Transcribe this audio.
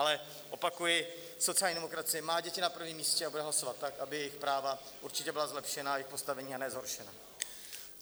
Ale opakuji, sociální demokracie má děti na prvním místě a bude hlasovat tak, aby jejich práva určitě byla zlepšena, jejich postavení, a ne zhoršena.